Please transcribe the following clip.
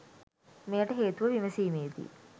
මෙයට හේතුව විමසීමේදී